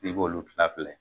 K'i k'olu tila fila ye.